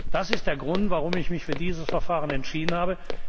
Das ist der Grund, warum ich mich für dieses Verfahren entschieden habe.